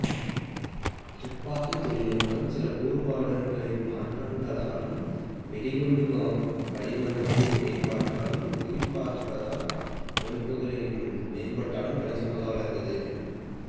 துப்பாக்கித் தொழில்நுட்பம் சில கூறுபாடுகளின் மாற்றங்களாலும் வெடிகுண்டு வடிவமைப்பின் மேம்பாட்டாலும் குறிபார்த்தல் அமைப்புகளின் மேம்பாட்டாலும் கணிசமாக வளர்ந்தது